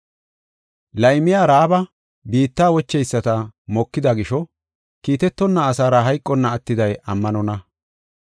Laymiya Ra7aaba biitta wocheyisata mokida gisho, kiitetonna asaara hayqonna attiday ammanonna.